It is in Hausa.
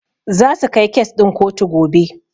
Zasu kai kes ɗin kotu gobe.